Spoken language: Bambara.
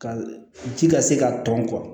Ka ji ka se ka tɔn